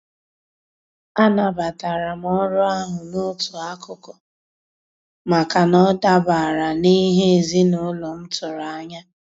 A nabatara m orụ ahụ n'otu akụkụ, maka na ọ dabara n'ihe ezinaụlọ m tụrụ anya.